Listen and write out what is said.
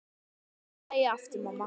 Syngdu lagið aftur, mamma